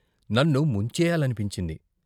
నన్ను ముంచెయ్యాలనిపించింది.